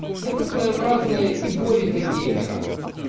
это своеобразная игоре для геймера